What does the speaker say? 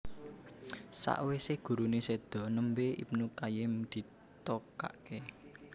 Sakwise gurune sedo nembe Ibnu Qayyim ditokake